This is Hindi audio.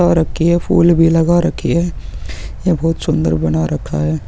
लगा रखी है फूल भी लगा रखी है यह बहुत सुन्दर बना रखा है।